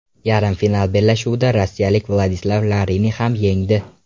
Yarim final bellashuvida rossiyalik Vladislav Larinni ham yengdi.